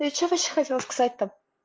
я что вообще хотела сказать то